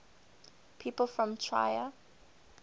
people from trier